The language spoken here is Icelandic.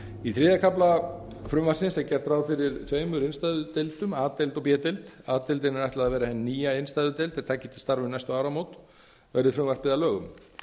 í þriðja kafla frumvarpsins gert ráð fyrir tveimur innstæðudeildum a deild og b deild a deildinni er ætla að vera hin nýja innstæðudeild er taki til hafa um næstu áramót verði frumvarpið að lögum